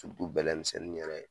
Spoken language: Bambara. bɛlɛ misɛnnin yɛrɛ